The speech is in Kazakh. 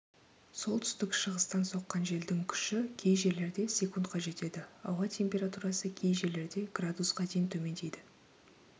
солтүстік-шығыстан соққан желдің күші кей жерлерде с-қа жетеді ауа температурасы кей жерлерде градусқа дейін төмендейді